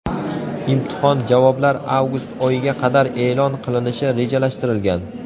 Imtihon javoblar avgust oyiga qadar e’lon qilinishi rejalashtirilgan.